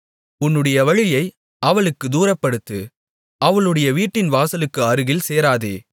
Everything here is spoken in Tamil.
உன்னுடைய வழியை அவளுக்குத் தூரப்படுத்து அவளுடைய வீட்டின் வாசலுக்கு அருகில் சேராதே